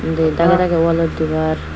du dagey dagey walot dibar.